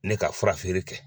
Ne ka fura feere kɛ.